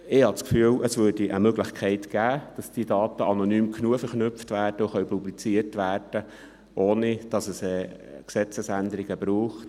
Ich habe das Gefühl, dass es eine Möglichkeit gäbe, dass die Daten anonym genug verknüpft und publiziert werden könnten, ohne dass es Gesetzesänderungen braucht.